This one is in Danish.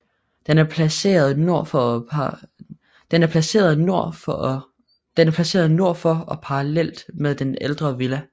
Den er placeret nord for og parallelt med den ældre villa